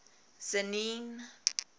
tzaneen